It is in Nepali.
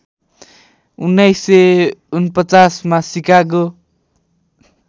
१९४९ मा सिकागो